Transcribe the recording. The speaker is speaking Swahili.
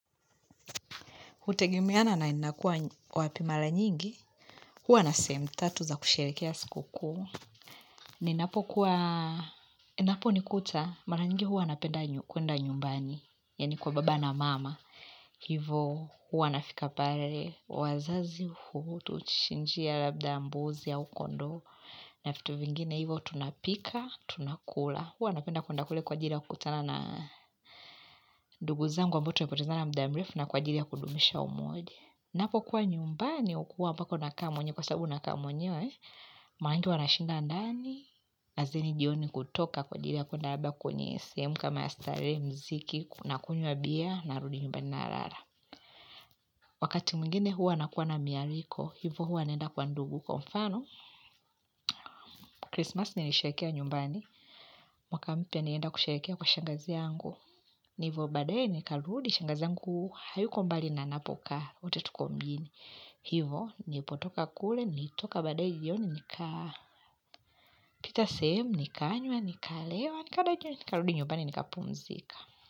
Hutegemea na ninakuwa wapi. Mara nyingi, huwa na sehemu tatu za kusherehekea siku kuu. Ninapo kuwa, inapo nikuta, mara nyingi huwa napenda kuenda nyumbani, yaani kwa baba na mama. Hivo huwa ninafika pale, wazazi hutuchinjia labda mbuzi au kondoo, na vitu vingine, hivo tunapika, tunakula. Huwa napenda kuenda kule kwa ajili ya kukutana na ndugu zangu ambao tumepotezana muda mrefu na kwa ajili ya kudumisha umoja. Ninapokuwa nyumbani, hukuwa mpaka ninakaa mwenyewe, maanake huwa nashinda ndani, na zini jioni kutoka kwa ajili ya kuenda labda kwenye sehemu kama ya starehe muziki, ninakunywa bia ninarudi nyumbani ninalala. Wakati mwingine huwa nakuwa na maaliko, hivo huwa naenda kwa ndugu. Kwa mfano, krismasi nilisherehekea nyumbani, mwaka mpya ninaenda kusherehekea kwa shangazi yangu. Hivo baadae nikarudi, shangazi yangu, hayuko mbali na ninapoka, wote tuko mbini. Hivo, nilipotoka kule, nilitoka baadaye yoni, nika pita sehemu, nikanywa, nikalewa, nikadajwa, nikarudi nyumbani, nikapumzika.